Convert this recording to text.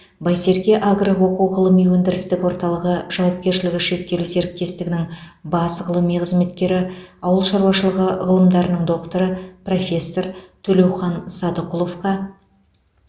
байсерке агро оқу ғылыми өндірістік орталығы жауапкершілігі шектеулі серіктестігінің бас ғылыми қызметкері ауыл шаруашылығы ғылымдарының докторы профессор төлеухан садықұловқа